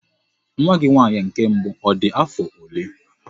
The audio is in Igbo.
Nwa gị nwaanyị nke mbụ ọ dị afọ ole?